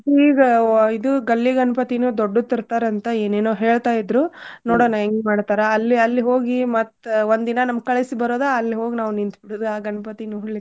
ಈಗ ಇದು ಗಲ್ಲಿ ಗಣ್ಪತೀನೂ ದೊಡ್ಡದ್ ತರ್ತಾರಂತ ಏನೇನೋ ಹೇಳ್ತಾ ಇದ್ರು ನೋಡಣ ಹೆಂಗ್ ಮಾಡ್ತಾರ. ಅಲ್ಲಿ ಅಲ್ಲಿ ಹೋಗಿ ಮತ್ ಒಂದಿನಾ ನಮ್ ಕಳ್ಸಿ ಬರುದ ಅಲ್ ಹೋಗ್ ನಾವ್ ನಿಂತ್ ಬಿಡುದ ಆ ಗಣ್ಪತಿ ನೋಡ್ಲಿಕ್ಕೆ.